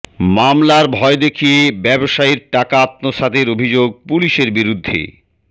মামলার ভয় দেখিয়ে ব্যবসায়ীর টাকা আত্মসাতের অভিযোগ পুলিশের বিরুদ্ধে